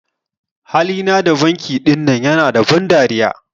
Hali na dan banki ɗinan ƴana da ban dariya.